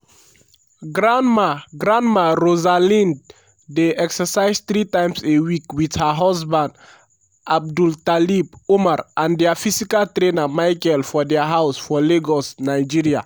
grandma grandma rosalind dey exercise three times a week wit her husband abdultalib umar and dia physical trainer michael for dia house for lagos nigeria.